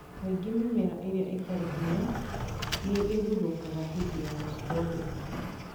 Kaingĩ mĩmera ĩrĩa ĩtarĩ na hinya nĩ ĩgũthũkaga hĩndĩ ya gũcithondeka